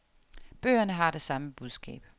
Bøgerne har det samme budskab.